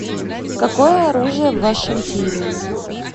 какое оружие в вашем тире